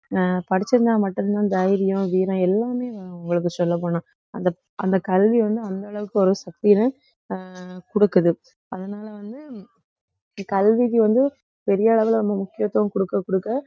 அஹ் படிச்சிருந்தா மட்டும் தான் தைரியம் வீரம் எல்லாமே உங்களுக்கு சொல்லப் போனா அந்த அந்த கல்வி வந்து அந்த அளவுக்கு ஒரு சக்தி இருக்கு அஹ் குடுக்குது அதனால வந்து கல்விக்கு வந்து பெரிய அளவுல நம்ம முக்கியத்துவம் கொடுக்க கொடுக்க